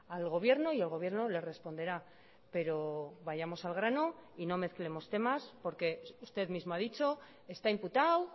al gobierno y el gobierno le responderá pero vayamos al grano y no mezclemos temas porque usted mismo ha dicho está imputado